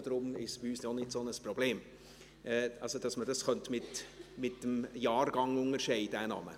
Bei uns sind die beiden Personen allerdings in unterschiedlichen Fraktionen, daher ist es bei uns auch nicht so ein Problem.